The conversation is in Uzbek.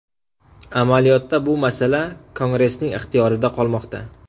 Amaliyotda bu masala Kongressning ixtiyorida qolmoqda.